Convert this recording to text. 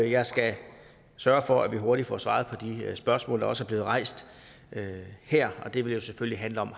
jeg skal sørge for at vi hurtigt får svaret på de spørgsmål der også er blevet rejst her og det vil jo selvfølgelig handle om